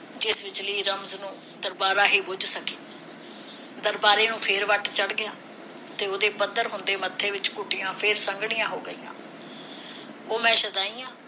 ਜਿਵੇਂ ਬਿਜਲੀ ਰਮਜ਼ ਨੂੰ ਦਰਬਾਰਾ ਹੀ ਬੁਝ ਸਕੇ ਦਰਬਾਰੇ ਨੂੰ ਫਿਰ ਵੱਟ ਚੜ ਗਿਆ ਤੇ ਉਹਦੇ ਹੁੰਦੇ ਮੱਥੇ ਵਿਚ ਘੁੱਟੀਆਂ ਫਿਰ ਸੰਘਣੀਆਂ ਹੋ ਗਈਆ ਉਹ ਮੈਂ ਸ਼ੁਆਦੀ ਆ